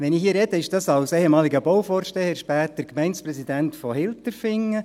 Wenn ich hier spreche, ist das als ehemaliger Bauvorsteher, später Gemeindepräsident von Hilterfingen.